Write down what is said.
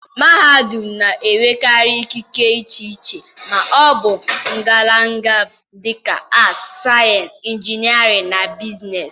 mahadum na-enwekarị ikike iche iche ma ọ bụ ngalaba, dị ka Arts, Sciences, Engineering, na Business.